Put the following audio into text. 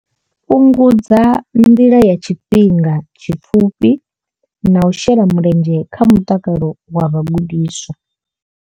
Fhungudza nḓala ya tshifhinga tshipfufhi na u shela mulenzhe kha mutakalo wa vhagudiswa.